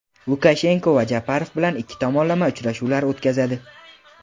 Lukashenko va Japarov bilan ikki tomonlama uchrashuvlar o‘tkazadi.